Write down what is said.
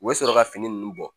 U bɛ sɔrɔ ka fini ninnu bɔ